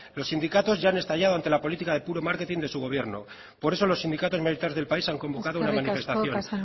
los sindicatos ya han estallado ante la política de puro marketing de su gobierno por eso los sindicatos mayoritarios del país han convocado una manifestación